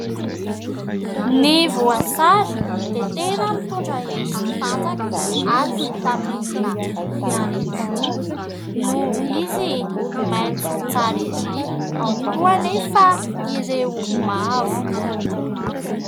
Ny voasary dia tena mitondra hery sy tanjaka ary "vitamine" ihany koa, noho izy maitso tsara ery ao koa anefa ireo mavo.